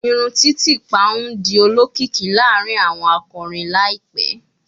Irun titipa n di olokiki laarin awọn akọrin laipẹ